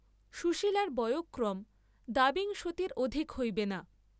সুশীলার বয়ঃক্রম দ্বাবিংশতির অধিক হইবে না।